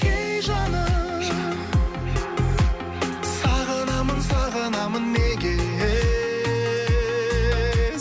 ей жаным сағынамын сағынамын неге